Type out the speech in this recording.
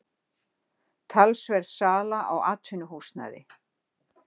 Talsverð sala á atvinnuhúsnæði